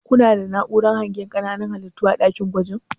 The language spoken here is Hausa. kuna da na'uran hangen ƙananan halittu a ɗakin gwajin?